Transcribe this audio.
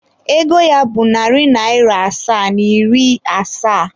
Ego ya bụ narị naịra asaa na iri asaa.